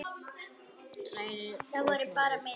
Hrærið og hnoðið.